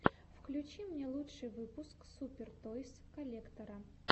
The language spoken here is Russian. включи мне лучший выпуск супер тойс коллектора